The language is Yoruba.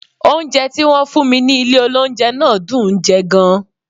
Oúnjẹ tí wọ́n fún mi ní ilé oúnjẹ náà dùn ún jẹ gan-an